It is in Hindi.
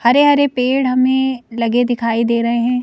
हरे-हरे पेड़ हमें लगे दिखाई दे रहे हैं।